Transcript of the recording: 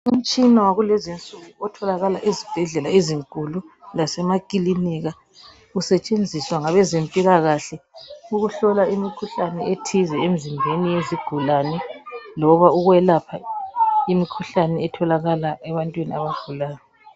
Umtshina wakulezi insuku otholakala ezibhedlela ezinkulu lasemakilinika. Usetshenziswa ngabezempilakahle ukuhlola imikhuhlane ethize emizimbeni yezigulane loba ukwelapha imikhuhlane etholakala ebantwini abagulayo.